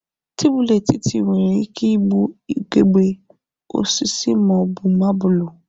Tebụl etiti nwere ike ịbụ ugegbe, osisi ma ọ bụ mabụlụ.